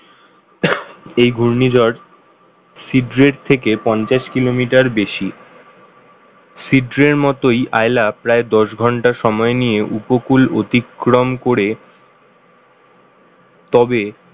এই ঘূর্ণিঝড় সিক্রেট থেকে পঞ্চাশ kilometer বেশি ছিদ্রের মতোই আইলা প্রায় দশ ঘণ্টা সময় নিয়ে উপকূল অতিক্রম করে তবে